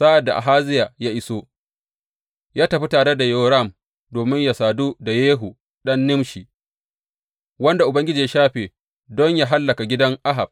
Sa’ad da Ahaziya ya iso, ya tafi tare da Yoram domin yă sadu da Yehu ɗan Nimshi, wanda Ubangiji ya shafe don yă hallaka gidan Ahab.